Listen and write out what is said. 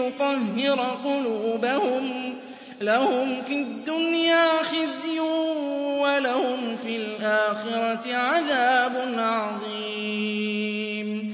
يُطَهِّرَ قُلُوبَهُمْ ۚ لَهُمْ فِي الدُّنْيَا خِزْيٌ ۖ وَلَهُمْ فِي الْآخِرَةِ عَذَابٌ عَظِيمٌ